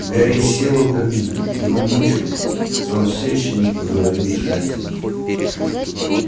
гарри сел у камина его мучило что он все ещё не поговорил с джастином